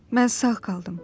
Mən sağ qaldım.